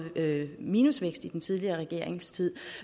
minusvækst i den tidligere regerings tid